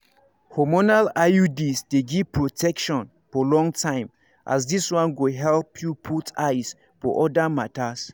hormonal iuds dey give protection for long time as this one go help you put eyes for other matters.